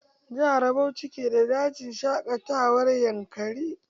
Jihar Bauchi ke da dajin shaƙatawar yankari.